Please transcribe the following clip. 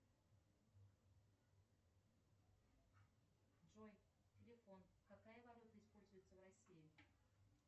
джой телефон какая валюта используется в россии